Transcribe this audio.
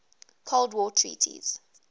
cold war treaties